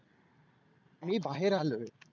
मी बाहेर आलोय.